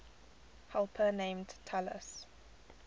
helper named talus